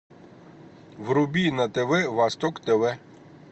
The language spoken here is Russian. вруби на тв восток тв